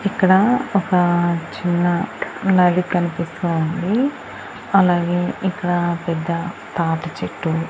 ఇక్కడ ఒక చిన్న నది లాగే కనిపిస్తూ ఉంది అలాగే ఇక్కడ పెద్ద తాటి చెట్టు --